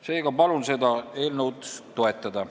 Seega palun seda eelnõu toetada.